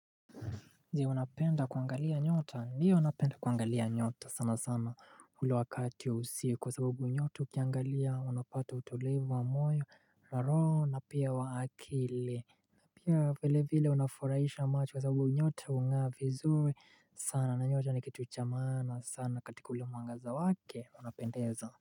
Zi unapenda kuangalia nyota ndiyo napenda kuangalia nyota sana sana ule wakati wa usiku kwa sababu nyota ukiangalia unapata utulivu wa moyo na roho na pia wa akili na pia vile vile unafurahisha macho kwa sababu nyoto hungaa vizuri sana na nyota ni kitu cha maana sana katika ule mwangaza wake unapendeza.